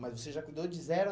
Mas você já cuidou de zero a